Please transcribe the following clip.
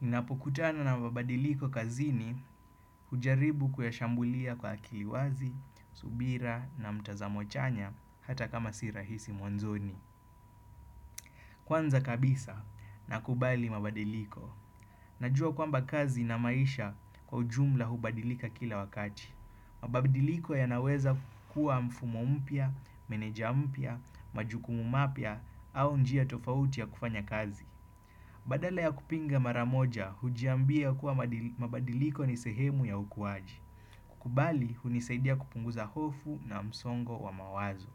Ninapokutana na mabadiliko kazini ujaribu kuyashambulia kwa akiliwazi, subira na mtazamo chanya hata kama sirahisi mwanzoni. Kwanza kabisa na kubali mabadiliko. Najua kwamba kazi na maisha kwa ujumla hubadilika kila wakati. Mabadiliko ya naweza kuwa mfumo mpya, meneja mpya, majukumu mapya au njia tofauti ya kufanya kazi. Badala ya kupinga maramoja, hujiambia kuwa mabadiliko nisehemu ya ukuwaji. Kukubali, hunisaidia kupunguza hofu na msongo wa mawazo.